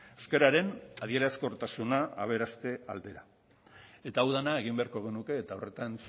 euskararen adierazkortasuna aberaste aldera eta hau dena egin beharko genuke eta horretan